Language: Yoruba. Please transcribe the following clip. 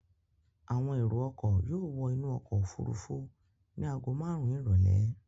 Àwọn èrò-ọkọ̀ yóò wọ inú ọkọ̀-òfurufú ní ago márùn-ún ìrọ́lẹ́.